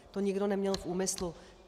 To nikdo neměl v úmyslu.